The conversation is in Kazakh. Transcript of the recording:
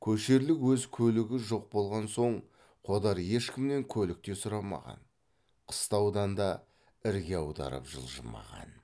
көшерлік өз көлігі жоқ болған соң қодар ешкімнен көлік те сұрамаған қыстаудан да ірге аударып жылжымаған